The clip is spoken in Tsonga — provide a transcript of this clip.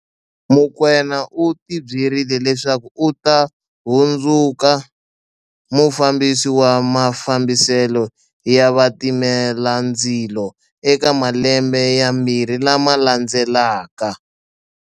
Mokoena u tibyerile leswaku u ta hundzuka mufambisi wa mafambiselo ya vatimelandzi lo eka malembe yambirhi lama landzelaka.